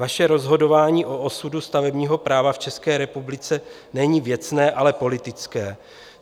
Vaše rozhodování o osudu stavebního práva v České republice není věcné, ale politické.